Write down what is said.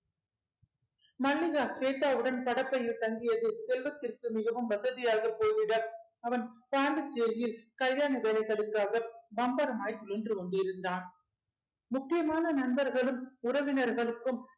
மல்லிகா கேட்டவுடன் படப்பையில் தங்கியது செல்வத்திற்கு மிகவும் வசதியாக போய்விட அவன் பாண்டிச்சேரியில் கல்யாண வேலைகளுக்காக பம்பரமாய் சுழன்று கொண்டிருந்தான் முக்கியமான நண்பர்களும் உறவினர்களுக்கும்